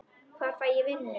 Hvar fæ ég vinnu?